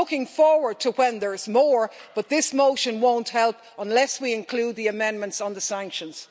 I'm looking forward to a time when there are more, but this motion won't help unless we include the amendments on the sanctions.